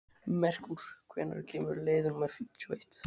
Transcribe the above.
Merkúr, hvenær kemur leið númer fimmtíu og eitt?